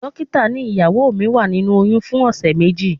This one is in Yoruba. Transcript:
Dókítà ní ìyàwó mi wà nínú oyún fún ọ̀sẹ̀ méjì.